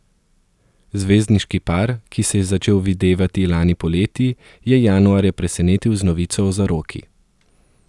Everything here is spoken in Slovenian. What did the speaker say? Zvezdniški par, ki se je začel videvati lani poleti, je januarja presenetil z novico o zaroki.